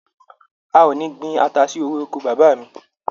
A ò ní gbin ata sí orí oko bàbá mi.